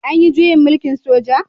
An yi juyin mulkin soja?